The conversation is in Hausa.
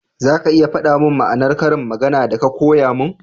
za ka iya fada mun ma'anar ƙarin magana da ka koya mun?